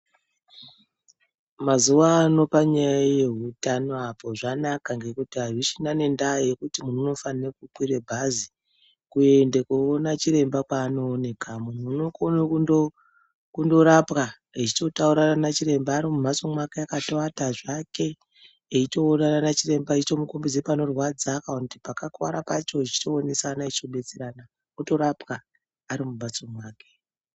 Mazuwano panyaya yeutano apa zvanaka ngekuti hazvichina nendaa yekuti munhu unofane kukwire bhazi, kuende koona chiremba kwaanooneka. Munhu unokono kundorapwa echitotaurirana nachiremba ari mumhatso mwake akatoata zvake, eyitoonana nachiremba echitomukombedze panorwadza pacho kana kuti pakakuara pacho, eyitoonesana, echitobetserana, otorapwa ari mumbatso make.